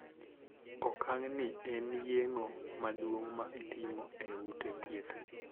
Okang' ni en yeng'o maduong' ma itimo e ute thieth.